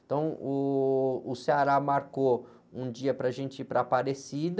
Então, uh, o marcou um dia para a gente ir para Aparecida.